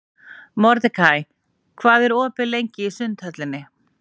Mordekaí, hvað er opið lengi í Sundhöllinni?